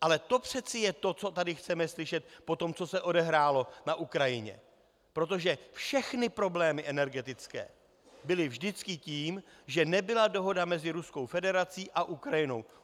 Ale to přece je to, co tady chceme slyšet po tom, co se odehrálo na Ukrajině, protože všechny problémy energetické byly vždycky tím, že nebyla dohoda mezi Ruskou federací a Ukrajinou.